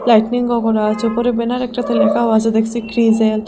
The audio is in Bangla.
লাইটনিং গগরো আচে ওপরে ব্যানার একটাতে লেখাও আসে দেখসি ক্রিজেল ।